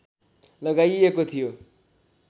लगाइएको थियो